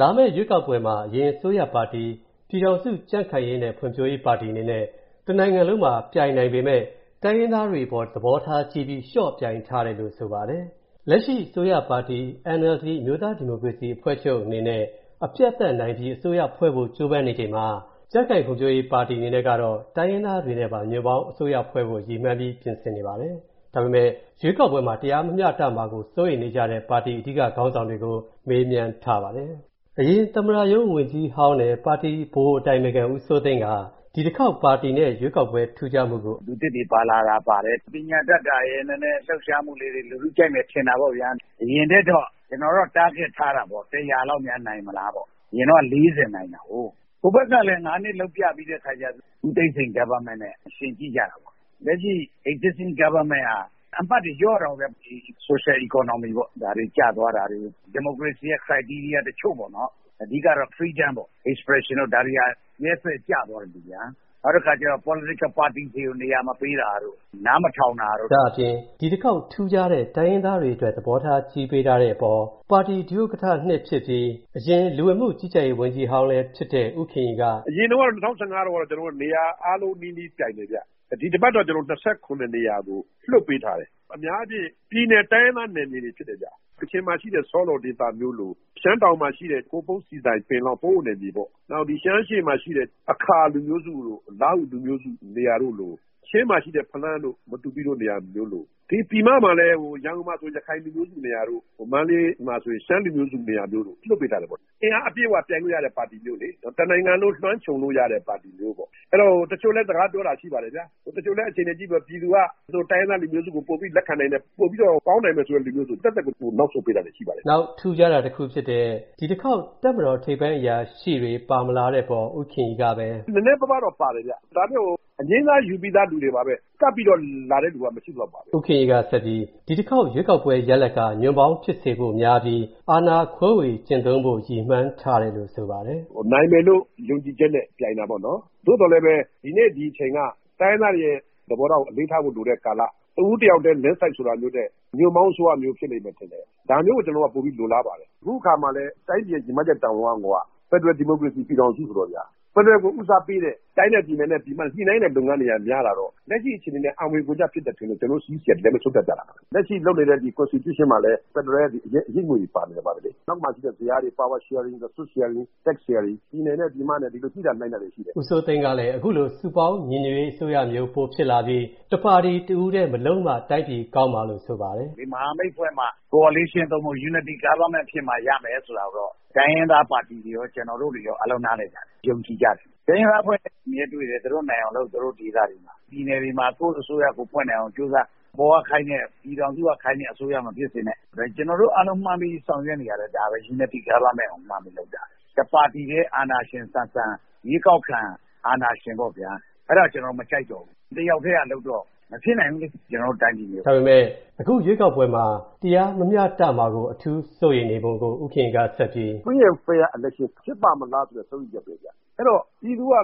လာမယ့်ရွေးကောက်ပွဲမှာ အရင်အစိုးရပါတီ ပြည်ထောင်စုကြံခိုင်ရေးနဲ့ ဖွံ့ဖြိုးရေးပါတီအနေနဲ့ တစ်နိုင်ငံလုံးမှာ ပြိုင်နိုင်ပေမဲ့၊ တိုင်းရင်းသားတွေအပေါ် သဘောထားကြီးပြီး လျော့ပြိုင်ထားတယ်လို့ ဆိုပါတယ်။ လက်ရှိအစိုးရပါတီ NLD အမျိုးသားဒီမိုကရေစီအဖွဲ့ချုပ်အနေနဲ့ အပြတ်အသတ်နိုင်ပြီး အစိုးရဖွဲ့ဖို့ ကြိုးပမ်းနေချိန်မှာ၊ ကြံခိုင်ဖွံ့ဖြိုးရေးပါတီ အနေနဲ့ကတော့ တိုင်းရင်းသားတွေနဲ့ပါ ညွှန့်ပေါင်းအစိုးရဖွဲ့ဖို့ ရည်မှန်းပြီးပြင်ဆင်နေပါတယ်။ ဒါပေမဲ့ ရွေးကောက်ပွဲမှာ တရားမမျှတမှာကို စိုးရိမ်နေကြတဲ့ ပါတီ အဓိကခေါင်းဆောင်တွေကို ကိုဝင်းမင်းက မေးမြန်းထားပါတယ်။ အရင်သမ္မတရုံးဝန်ကြီးဟောင်းနဲ့ ပါတီဗဟိုဗဟိုအတိုင်ပင်ခံ ဦးစိုးသိန်းက ဒီတစ်ခေါက် ပါတီနဲ့ ရွေးကောက်ပွဲ ထူးခြားမူကိုအခုလိုပြောပါတယ်။ “လူသစ်တွေပါလာတာပါတယ်။ ပညာတတ်တာရယ်၊ နည်းနည်းလှုပ်ရှားမူတွေ လူထုကြိုက်မယ်ထင်တာပေါ့ဗျာ။ အရင်ထက်တော့ ကျွန်တော်တော့် Target ထားတာပေါ့၊ လောက် များနိုင်မလားပေါ့။ အရင်တုံးက နိုင်တာကို။ ဟိုဘက်ကလည်း နှစ်လုပ်ပြပြီးတဲ့အခါကျတော့၊ ဦးသိန်းစိန် Government နဲ့ ယှဉ်ကြည့်ကြတာပေါ့၊ လက်ရှိ Existing Government က အမှတ်တွေ လျော့တာပေါ့ဗျာ၊ ဒီ Socio-economy ပေါ့၊ ဒါတွေကျသွားတာတွေ။ ဒီမိုကရေစီရဲ့ Criteria တချို.ပေါ့၊ အဓိက Freedom ပေါ့၊ Expression တို့၊ ဒါတွေက ရက်ရက်စက်စက် ကျသွားတယ်ဗျာ။ နောက်ပြီးတော့ Political Party တွေကို နေရာမပေးတာတို့၊ နားမထောင်တာတို့။” ဒါ့အပြင် ဒီတစ်ခေါက် ထူးခြားတဲ့ တိုင်းရင်းသားတွေအတွက် သဘောထားကြီးပေးထားတဲ့အပေါ်၊ ပါတီ ဒုဥက္ကဌ ဖြစ်ပြီး၊ အရင် လူဝင်မူကြီးကြပ်ရေး ဝန်ကြီးဟောင်းလည်းဖြစ်တဲ့ ဦးခင်ရီက - “အရင်တုန်းက ၂၀၁၅ တုံးက ကျွန်တော်တို့က နေရာအားလုံးနီးပါး ပြိုင်တယ်ဗျ၊ ဒီတစ်ပတ်တော့ နေရာကို လွှတ်ပေးထားတယ်၊ အများအားဖြင့် ပြည်နယ် တိုင်းရင်းသား နယ်မြေတွေဖြစ်တယ်ဗျ။ ကချင်မှာရှိတဲ့ ဆော့လော်ဒေသမျိုးလို၊ ရှမ်းတောင်မှာရှိတဲ့ ဟိုပုံး၊ ဆီဆိုင်၊ ပင်လောင်း ၊ ပအို့နယ်မြေပေါ့၊ နောက် ဒီရှမ်းအရှေ.မှာရှိတဲ့ အာခါလူမျိုးစု၊ လားဟ ူလူမျိုးစုနေရာမျိုးတို့လို၊ ချင်းမှာရှိတဲ့ ဖလမ်းတို့၊ မတူပီတို့နေရာမျိုးလို၊ ဒီပြည်မမှာလည်း ရန်ကုန်မှာဆို ရခိုင်လူမျိုးစုနေရာမျိုး၊ မန္တလေးမှာဆို ရှမ်းလူမျိုးစုနေရာမျိုး လွှတ်ထားပေးတာပေါ့။ အင်အားအပြည့်အဝပြိုင်လို့ရတဲ့ ပါတီမျိုးလေ၊ တစ်နိုင်ငံလုံးကို လွှမ်းခြုံလို့ရတဲ့ ပါတီမျိုးပေါ့။ တချို့နဲ့လည်း စကားပြောတာရှိတယ်၊ တချို.လည်း အခြေအနေကြည့်ပြီးတော့ ပြည်သူက တိုင်းရင်းသားလူမျိုးကို ပိုပြီးတော့ လက်ခံတယ်ဆိုရင်၊ ပိုပြီးတောင့် ကောင်းနိုင်မယ့် လူမျိုးဆို၊ ကျွန်တော်တို့က သက်သက်ကို နောက်ဆုတ်ပေးလိုက်တာတွေရှိပါတယ်။” နောက် ထူးခြားတာတစ်ခုဖြစ်တဲ့ ဒီတစ်ခေါက် တပ်မတော်ထိပ်ပိုင်းအရာရှိတွေ ပါမလာတဲ့အပေါ် ဦးခင်ရီကပဲ - “နည်းနည်းပါးပါးတော့ ပါတယ်ဗျ၊ ဒါပေမဲ့ အငြိမ်းစားယူပြီးသား သူတွေပါပဲ၊ ကပ်ပြီးတော့ လာတဲ့သူတွေတော့ မရှိသလောက်ပါဘဲ။” ဦးခင်ရီကပဲ ဒီတစ်ခေါက်ရွေးကောက်ပွဲရလဒ်က ညွှန့်ပေါင်းဖြစ်စေဖို့များပြီး၊ အာဏာခွဲဝေကျင့်သုံးဖို့ ရည်မှန်းထားတယ်လို့ ဆိုပါတယ်။ “နိုင်မယ်လို့ ယုံကြည်ချက်နဲ့ ပြိုင်တာပေါ့နော်။ သို့သော်လည်းပဲ၊ ဒီနေ့ ဒီအချိန်က တိုင်းရင်းသားတွေရဲ့ သဘောထားကို အလေးထားဖို့ လိုတဲ့ကာလ၊ တစ်ဦးတစ်ယောက်ထဲ Landslide ဆိုတာမျိုးထက်၊၊ ညွှန့်ပေါင်းအစိုးရမျိုးဖြစ်မယ်ထင်တယ်၊ ဒါမျိုးကို ကျွန်တော်တို့က ပိုပြီး လိုလားပါတယ်။ အခုအခါမှာလည်း တိုင်းပြည်ရဲ့ ရည်မှန်းချက်တာဝန်က၊ ဖယ်ဒရယ်ဒီမိုကရေစီပြည်ထောင်စုဆိုတော့ဗျာ၊ ဖယ်ဒရယ်ကို ဦးစားပေးတဲ့ တိုင်းနဲ့ပြည်နယ်နဲ့ ပြည်မနဲ့ ညှိနှိုင်းတဲ့လုပ်ငန်းတွေကများလာတော့၊ လက်ရှိအခြေအနေနဲ့ အံဝင်ဂွင်ကျဖြစ်တယ်ထင်လို့ ကျွန်တော်တို့ CEC က ဒီအတိုင်းဆုံးဖြတ်ကြတာပါ။ လက်ရှိလုပ်နေတဲ့ ဒီ Constitution မှာလည်း ဖယ်ဒရယ်ရဲ့ အရိပ်အငွေ့တွေပါနေတယ်လေ ။ နောက်မှာရှိတဲ့ ဇယားတွေမှာ Power Sharing ၊ Resource Sharing ၊ Tax Sharing ၊ ပြည်နယ်နဲ့ ပြည်မနဲ့ ခုလိုညိနှိုင်းကြတာတွေရှိတယ်။” ဦးစိုးသိန်းကလည်း စုပေါင်းညီညွတ်ရေးအစိုးရမျိုး ပေါ်လာပြီး၊ တစ်ပါတီထဲ၊ တစ်ဦးထဲ မလုပ်မှ တိုင်းပြည်ကောင်းမှာလို့ ဆိုပါတယ်။ “ဒီမဟာမိတ်ဖွဲ့မှ Coalition သို့မဟုတ်၊ Unity government ဖြစ်မှ ရမယ်ဆိုတာမျိုး၊ တိုင်းရင်းသားပါတီတွေရော၊ ကျွန်တော်တို့တွေရော အားလုံးနားလည်ကြတယ်၊ ယုံကြည်ကြတယ်။ တိုင်းရင်းသားအဖွဲ့တွေနဲ့ အမြဲတွေ့တယ်၊ သူတို့နိုင်အောင်လုပ်၊ သူတို့ ဒေသတွေမှာ၊ ပြည်နယ်တွေမှာ ကိုယ့်အစိုးရ ကိုယ်ဖွဲ့နိုင်အောင်ကြိုးစား၊ အပေါ်ကခိုင်းတဲ့၊ ပြည်ထောင်စုက ခိုင်းတဲ့ အစိုးရမဖြစ်စေနဲ့။ ဒါကျွန်တော်တို့ အားလုံးမှန်းပြီးဆောင်ရွက်နေတာ၊ ဒါပဲ Unity Government ကိုမှန်းပြီး လုပ်နေကြတာ။ တစ်ပါတီထဲ၊ အာဏာရှင်ဆန်ဆန်၊ ရွေးကောက်ခံအာဏာရှင်ပေါ့ဗျာ၊ အဲ့ဒါကို ကျွန်တော်တို့ မကြိုက်တော့ဘူး။ တစ်ယောက်ထဲက လုပ်တာ မဖြစ်နိုင်ဘူးလေ၊ ကျွန်တော်တို့ တိုင်းပြည်မျိုးမှာ။” ဒါပေမယ့် ရွေးကောက်ပွဲမှာ တရားမမျှတမှာ အထူးစိုးရိမ်နေပုံကို ဦးခင်ရီက - “Free and Fair Election ဖြစ်ပါ့မလားဆိုတဲ့ စိုးရိမ်ချက် ပဲဗျ။ အဲ့ဒီတော့ ပြည်သူက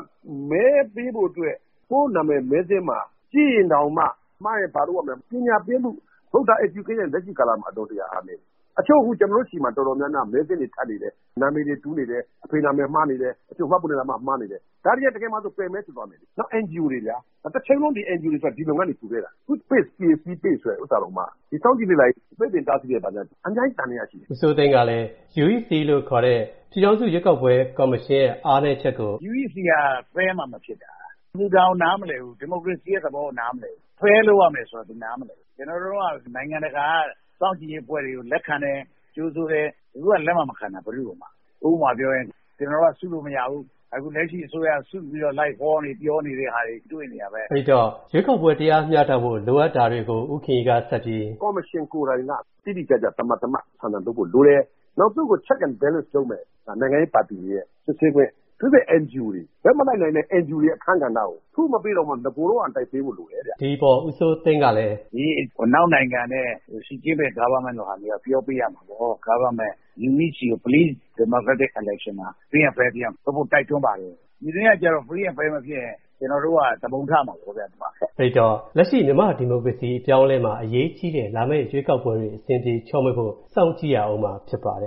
မဲပေးဖို့အတွက်၊ ကိုယ့်နာမည် မဲစာရင်းမှာ ကြည့်ရင်တောင်မှ၊ မှားရင် ဘာလုပ်ရမယ်ဆိုတာ၊ ပညာပေးမူ Voter Education က အလွန်တရာ အားနည်းတယ်။ တချို.အခု ကျွန်တော်တို့ဆီမှာ၊ အတော်များများ မဲစာရင်းတွေ ထပ်နေတယ်၊ နာမည်တွေ တူနေတယ်၊ အဖေနာမည် မှားနေတယ်၊ တချို. မှတ်ပုံတင်နံပါတ် မှားနေတယ်၊ ဒါတွေဟာ တကယ်မှာဆို ပယ်မဲတွေဖြစ်သွားမယ်လေ။ နောက် NGO တွေလေဗျာ။ တချိန်လုံး ဒီ NGO တွေဆိုတာ ဒီလုပ်ငန်းကို ကူလာခဲ့တာ၊ အခု PACE (People's Alliance For Credible Elections-ရွေးကောက်ပွဲဆိုင်ရာ ပြည်သူ့လှုပ်ရှားမှုအဖွဲ့) ကိုတောင်မှ၊ အခု စောင့်ကြည့်လေ့လာရေး ပိတ်ပင်တာဆီးတဲ့အခါကျတော့ အများကြီးသံသယရှိတယ်။” ဦးစိုးသိန်းကလည်း UEC လို့ခေါ်တဲ့ ပြည်ထောင်စုရွေးကောက်ပွဲကော်မရှင်ရဲ့ အားနည်းချက်ကို - “UEC က Fair မှ မဖြစ်တာ၊ သူ ဒါကို နားမလည်ဘူး။ ဒီမိုကရေစီရဲ့ သဘောကို နားမလည်ဘူး။ Fair လုပ်ရမယ်ဆိုတာ သူနားမလည်ဘူး။ ကျွန်တော်တို့ အစိုးရတုန်းက နိုင်ငံတကာက စောင့်ကြည့်ရေးအဖွဲ့တွေကို လက်ခံတယ်၊ ကြိုဆိုတယ်။ အခုက လက်မှမခံတာ ဘယ်သူ့ကိုမှ။ နောက် ဥပမာပြောရရင်၊ ကျွန်တော်တို့က လူစုလို့မရဘူး၊ ဒါပေမဲ့ လက်ရှိအစိုးရက စုပြီးတော့ လိုက်ဟောနေ ပြောနေတဲ့ဟာတွေ တွေ့နေရတာပဲ။” အဲ့ဒီတော့ ရွေးကောက်ပွဲ တရားမျှတဖို့ လိုအပ်တာတွေကို ဦးခင်ရီကဆက်ပြီး - “ဒီကော်မရှင်ကိုယ်တိုင်က တိတိကျကျ သမာသမတ် ဆန်ဆန် လုပ်ဖို့လိုတယ်၊ နောက် သူ့ကို Check and Balance လုပ်မဲ့ နိုင်ငံရေးပါတီတွေရဲ့ စစ်ဆေးခွင့်၊ အထူးသဖြင့် ဘက်မလိုက်တဲ့ NGO တွေရဲ့ အခန်းကဏ္ဍကို၊ အခုမပေးတာတောင်၊ နဂိုတုံးကအတိုင်းပေးဖို့လိုတယ်ဗျ။” ဒီအပေါ် ဦးစိုးသိန်းကလည်း - “ဒီ အနောက်နိုင်ငံတွေနဲ့ ရှီဂျင်းပင် Government လိုမျိုးက ပြောပေးရမှာပေါ့၊ Government အနေနဲ့ UEC ကို၊ Please ဒီမိုကရက်တစ် Elections မှာ၊ Free and Fair ဖြစ်အောင် လုပ်ဖို့ တိုက်တွန်းပါတယ်။ ပြည်တွင်းကကျတော့ Free and Fair မဖြစ်ရင်၊ ကျွန်တော်တို့က သူပုန်ထမှာပေါ့ဗျ၊ ဘာခက်လဲ။” အဲ့ဒီတော့ လက်ရှိ မြန်မာဒီမိုကရေစီ အပြောင်းအလဲမှာ အရေးကြီးတဲ့ လာမယ့်ရွေးကောက်ပွဲတွေ အဆင်ပြေချောမွေ့ဖို့ စောင့်ကြည့်ရဦးမှာ ဖြစ်ပါတယ်။